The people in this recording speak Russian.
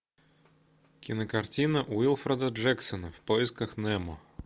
кинокартина уилфреда джексона в поисках немо